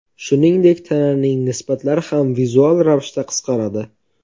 Shuningdek, tananing nisbatlari ham vizual ravishda qisqaradi.